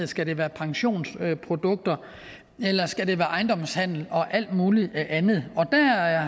skal det være pensionsprodukter eller skal det være ejendomshandel og alt mulig andet der har